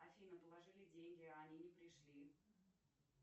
афина положили деньги а они не пришли